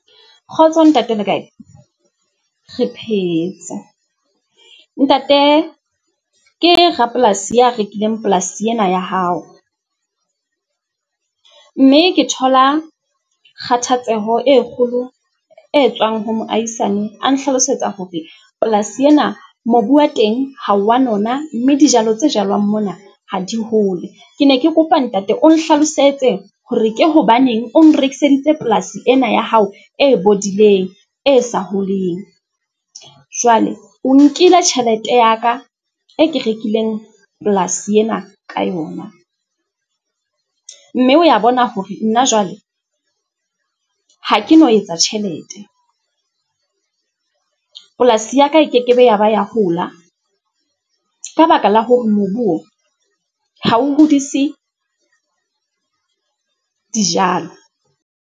Kgotso ntate le kae? Re phetse. Ntate ke rapolasi ya rekileng polasi ena ya hao, mme ke thola kgathatseho e kgolo e tswang ho moahisane a nhlalosetsa hore polasi ena mobu wa teng ha wa nona, mme dijalo tse jalwang mona ha di hole. Ke ne ke kopa ntate o nhlalosetse hore ke hobaneng o nrekiseditse polasi ena ya hao e bodileng e sa holeng. Jwale o nkile tjhelete ya ka e ke rekileng polasi ena ka yona, mme o ya bona hore nna jwale ha ke no etsa tjhelete. Polasi ya ka e ke ke be ya ba ya hola ka baka la hore mobu o ha o hodise dijalo.